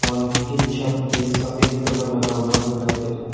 Hall की छत पे सफ़ेद कलर लगा हुआ दिखाई दे रहा है।